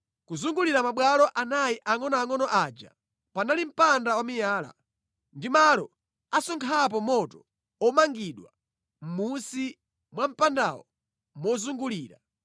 Kuzungulira mabwalo anayi angʼonoangʼono aja panali mpanda wamiyala, ndi malo asonkhapo moto omangidwa mʼmunsi mwa mpandawo mozungulira.